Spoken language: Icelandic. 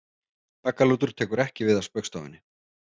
Baggalútur tekur ekki við af Spaugstofunni